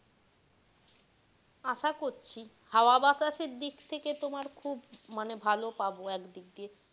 আশা করছি হাওয়া বাতাসের দিক থেকে তোমার খুব মানে ভালো পাবো এক দিক দিয়ে।